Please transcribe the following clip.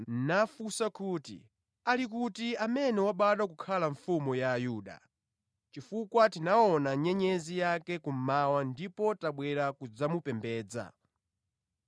nafunsa kuti, “Ali kuti amene wabadwa kukhala mfumu ya Ayuda? Chifukwa tinaona nyenyezi yake kummawa ndipo tabwera kudzamupembedza.”